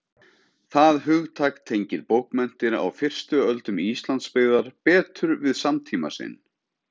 það hugtak tengir bókmenntir á fyrstu öldum íslandsbyggðar betur við samtíma sinn